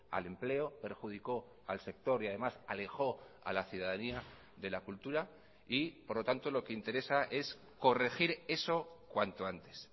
al empleo perjudicó al sector y además alejó a la ciudadanía de la cultura y por lo tanto lo que interesa es corregir eso cuanto antes